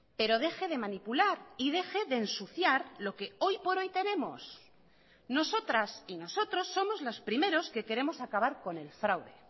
pero deje de manipular y deje de ensuciar lo que hoy por hoy tenemos nosotras y nosotros somos los primeros que queremos acabar con el fraude